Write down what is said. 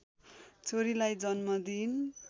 छोरीलाई जन्म दिइन्